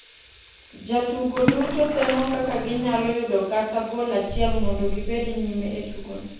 Jotugo duto temo kaka ginyalo yudo kata gol achiel mondo gibed nyime e tugono.